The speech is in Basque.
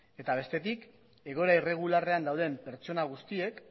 eta bestetik egoera irregularrean dauden pertsona guztiek